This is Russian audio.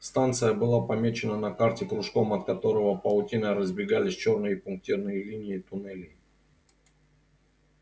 станция была помечена на карте кружком от которого паутиной разбегались чёрные пунктирные линии туннелей